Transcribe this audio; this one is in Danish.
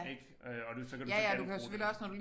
Ik øh og du så kan du så genbruge det